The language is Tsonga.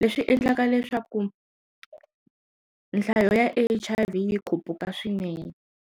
leswi endlaka leswaku nhlayo ya H_I_V yi khupukile swinene.